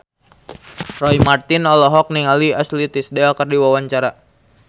Roy Marten olohok ningali Ashley Tisdale keur diwawancara